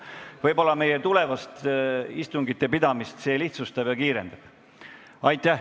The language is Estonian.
Võib-olla see tulevast istungite pidamist lihtsustab ja kiirendab.